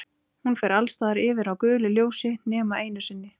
Hún fer alls staðar yfir á gulu ljósi nema einu sinni.